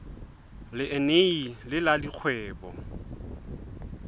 le eneji le la dikgwebo